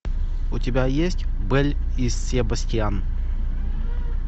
у тебя есть белль и себастьян